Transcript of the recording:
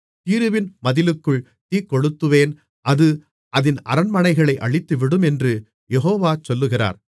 தீருவின் மதிலுக்குள் தீக்கொளுத்துவேன் அது அதின் அரண்மனைகளை அழித்துவிடும் என்று யெகோவா சொல்லுகிறார்